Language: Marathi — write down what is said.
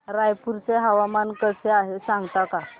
रायपूर चे हवामान कसे आहे सांगता का